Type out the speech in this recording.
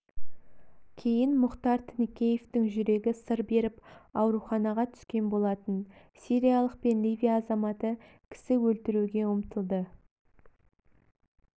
кейін мұхтар тінікеевтің жүрегі сыр беріп аурухаға түскен болатын сириялық пен ливия азаматы кісі өлтіруге ұмтылды